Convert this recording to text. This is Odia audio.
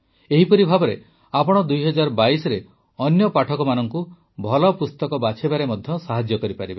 ଏହିପରି ଭାବେ ଆପଣ ୨୦୨୨ରେ ଅନ୍ୟ ପାଠକଙ୍କୁ ଭଲ ପୁସ୍ତକ ବାଛିବାରେ ମଧ୍ୟ ସାହାଯ୍ୟ କରିପାରିବେ